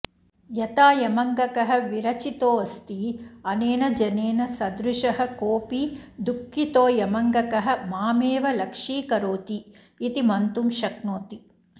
यथायमङ्कः विरचितोऽस्ति अनेन जनेन सदृशः कोऽपि दुखितोऽयमङ्कः मामेव लक्षीकरोति इति मन्तुं शक्नोति